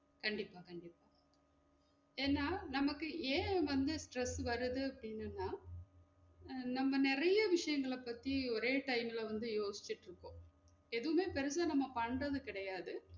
கண்டிப்பா கண்டிப்பா ஏனா நமக்கு ஏன் வந்து stress வருது அப்டின்னு சொன்னா? நம்ம நிறைய விஷயங்கள பத்தி ஒரே time ல வந்து யோசிச்சுட்டு இருப்போம் எதுவுமே நம்ம பெருசா பண்றது கிடையாது